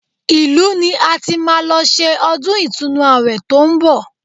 Ìlú ni a ti máa lọ ṣe ọdún ìtúnu àwẹ̀ tó ń bọ̀